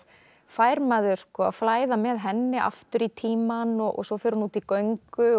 fær maður að flæða með henni aftur í tímann og svo fer hún út í göngu